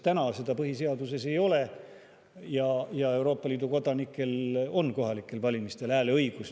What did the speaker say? Täna seda ju põhiseaduses ei ole ja Euroopa Liidu kodanikel on kohalikel valimistel hääleõigus.